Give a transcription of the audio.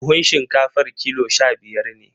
Buhun shinkafar kilo sha-biyar ne.